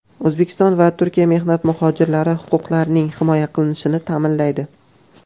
O‘zbekiston va Turkiya mehnat muhojirlari huquqlarining himoya qilinishini ta’minlaydi.